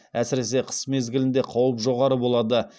әсіресе қыс мезгілінде қауіп жоғары болады